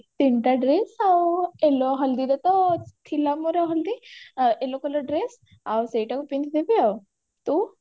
ତିନଟା dress ଆଉ yellow ହଲଦିରେ ତ ଥିଲା ମୋର ହଲଦି yellow colour dress ଆଉ ସେଇଟାକୁ ପିନ୍ଧିଦେବି ଆଉ ତୁ